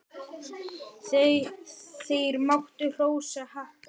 Þeir máttu hrósa happi.